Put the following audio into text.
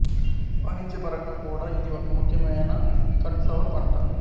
వాణిజ్యపరంగా కూడా ఇది ఒక ముఖ్యమైన కట్ ఫ్లవర్ పంట